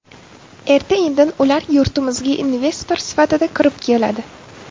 Erta-indin ular yurtimizga investor sifatida kirib keladi.